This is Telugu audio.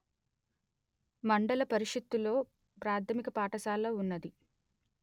మండల పరిషత్తులో ప్రాథమిక పాఠశాల ఉన్నది